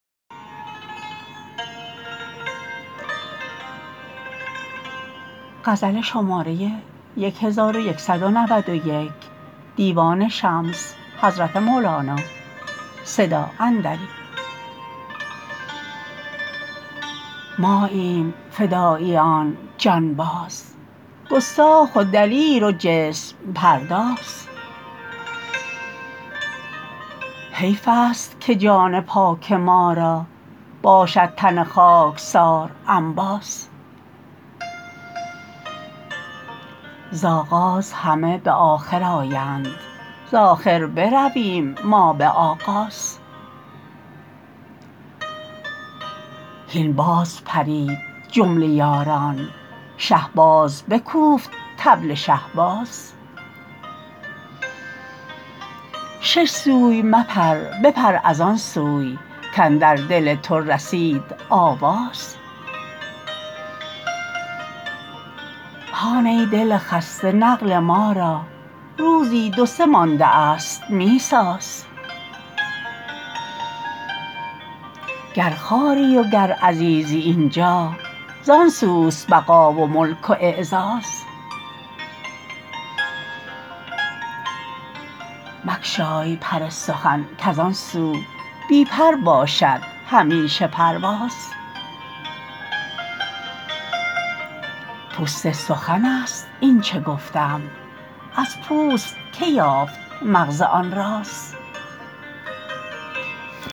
ماییم فداییان جانباز گستاخ و دلیر و جسم پرداز حیفست که جان پاک ما را باشد تن خاکسار انباز ز آغاز همه به آخر آیند ز آخر برویم ما به آغاز هین باز پرید جمله یاران شه باز بکوفت طبل شهباز شش سوی مپر بپر از آن سو کاندر دل تو رسید آواز هان ای دل خسته نقل ما را روزی دو سه ماندست می ساز گر خواری وگر عزیزی این جا زان سوست بقا و ملک و اعزاز مگشای پر سخن کز آن سو بی پر باشد همیشه پرواز پوست سخنست اینچ گفتم از پوست کی یافت مغز آن راز